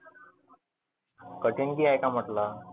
कठीक काही आहे का म्हटलं?